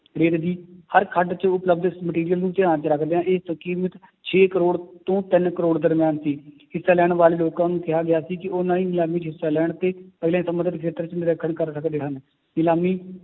ਦੀ ਹਰ ਖੱਡ 'ਚ ਉਪਲਬਧ ਇਸ material ਨੂੰ ਧਿਆਨ 'ਚ ਰੱਖਦਿਆਂ ਇਹ ਕੀਮਤ ਛੇ ਕਰੌੜ ਤੋਂ ਤਿੰਨ ਕਰੌੜ ਦਰਮਿਆਨ ਸੀ ਹਿੱਸਾ ਲੈਣ ਵਾਲੇ ਲੋਕਾਂ ਨੂੰ ਕਿਹਾ ਗਿਆ ਸੀ ਕਿ ਉਹਨਾਂ ਦੀ ਨਿਲਾਮੀ 'ਚ ਹਿੱਸਾ ਲੈਣ ਤੇ ਅਗਲੇ ਨਰੀਖਣ ਕਰ ਸਕਦੇ ਹਨ, ਨਿਲਾਮੀ